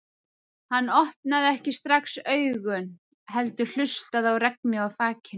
Hann opnaði ekki strax augun heldur hlustaði á regnið á þakinu.